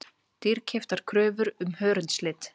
Dýrkeyptar kröfur um hörundslit